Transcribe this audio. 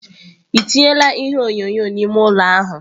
Ị tinyela ihe onyonyo n'ime ụlọ ahụ?